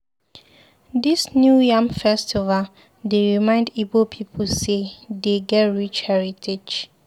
Dis New Yam Festival dey remind Ibo pipu sey dey get rich heritage.